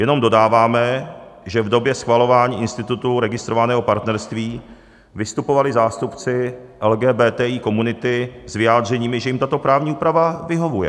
Jenom dodáváme, že v době schvalování institutu registrovaného partnerství vystupovali zástupci LGBTI komunity s vyjádřeními, že jim tato právní úprava vyhovuje.